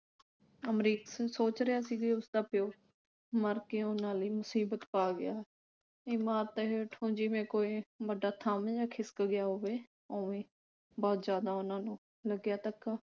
ਅਮਰੀਕ ਸਿੰਘ ਸੋਚ ਰਿਹਾ ਸੀ ਬਈ ਉਸਦਾ ਪਿਉ ਮਰ ਕੇ ਉਨ੍ਹਾਂ ਲਈ ਮੁਸੀਬਤ ਪਾ ਗਿਆ। ਇਮਾਰਤ ਹੇਠੋਂ ਜਿਵੇਂ ਕੋਈ ਵੱਡਾ ਥੰਮ ਜਾ ਖਿਸਕ ਗਿਆ ਹੋਵੇ ਉਵੇਂ ਬਹੁਤ ਉਨ੍ਹਾਂ ਨੂੰ ਲੱਗਿਆ ਧੱਕਾ